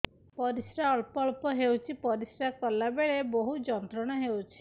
ପରିଶ୍ରା ଅଳ୍ପ ଅଳ୍ପ ହେଉଛି ପରିଶ୍ରା କଲା ବେଳେ ବହୁତ ଯନ୍ତ୍ରଣା ହେଉଛି